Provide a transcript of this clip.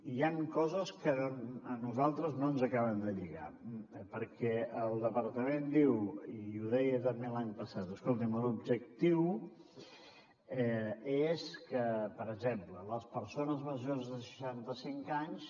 hi han coses que a nosaltres no ens acaben de lligar perquè el departament diu i ho deia també l’any passat escoltin l’objectiu és que per exemple les persones majors de seixanta cinc anys